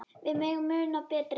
Við megum muna betri tíma.